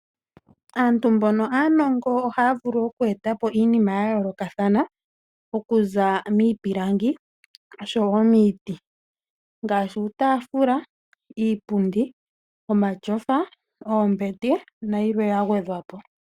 Aantu mbono aanongo ohaya vulu oku eta po iinima ya yoolokathana okuza miipilangi osho wo miiti ngaashi uutaafula, iipundi, omatyofa, oombete nayilwe ya gwedhwa po.